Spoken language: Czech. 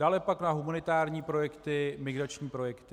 Dále pak na humanitární projekty, migrační projekty.